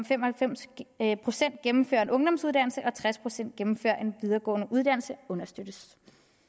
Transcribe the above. fem og halvfems procent gennemfører en ungdomsuddannelse og tres procent gennemfører en videregående uddannelse understøttes